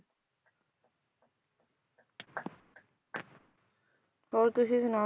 ਹੋਰ ਤੁਸੀਂ ਸੁਣਾਓ?